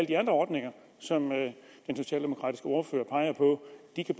de andre ordninger som den socialdemokratiske ordfører peger på